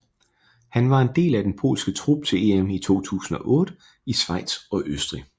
Han var en del af den polske trup til EM i 2008 i Schweiz og Østrig